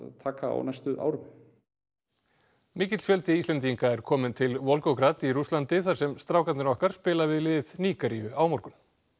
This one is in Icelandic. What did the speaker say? taka á næstu árum mikill fjöldi Íslendinga er kominn til í Rússlandi þar sem strákarnir okkar spila við lið Nígeríu á morgun